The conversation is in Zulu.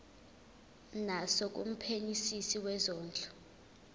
naso kumphenyisisi wezondlo